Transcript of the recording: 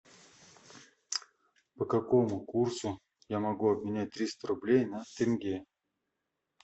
по какому курсу я могу обменять триста рублей на тенге